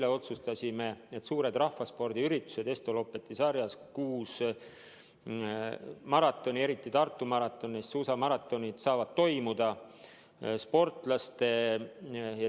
Eile otsustasime, et suured rahvaspordiüritused Estoloppeti sarjas – kuus maratoni, millest eriti tähtis on Tartu maraton – saavad toimuda.